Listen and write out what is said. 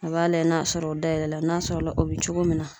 A b'a layɛ n'a sɔrɔ o dayɛlɛla n'a sɔrɔla la o be cogo min na